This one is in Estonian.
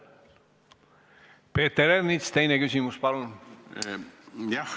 Peeter Ernits, teine küsimus, palun!